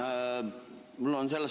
Tänan!